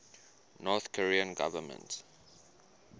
north korean government